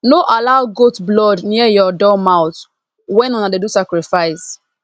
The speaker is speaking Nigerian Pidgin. no allow goat blood near your door mouth when una dey do sacrifice